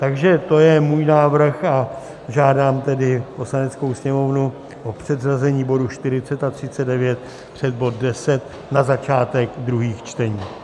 Takže to je můj návrh a žádám tedy Poslaneckou sněmovnu o předřazení bodů 40 a 39 před bod 10 na začátek druhých čtení.